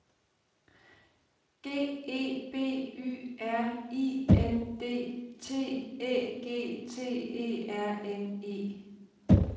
G E B Y R I N D T Æ G T E R N E